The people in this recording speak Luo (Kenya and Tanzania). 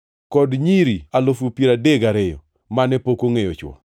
kod nyiri alufu piero adek gariyo (32,000) mane pok ongʼeyo chwo.